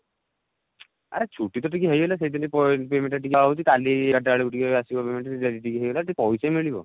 ଆରେ ଛୁଟି ତ ଟିକେ ହେଇଗଲା ସେଇ ଦିନ payment ଯଦି ନ ହଉଛି କାଲି ରାତି ବେଳକୁ ଆସିବ payment ସେ ପଇସା ମିଳିବ